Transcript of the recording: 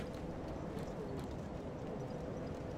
средство для очистки унитазов комет